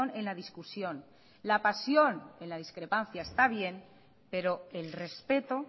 en la discusión la pasión en la discrepancia está bien pero el respeto